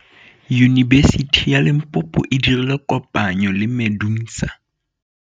Yunibesiti ya Limpopo e dirile kopanyô le MEDUNSA.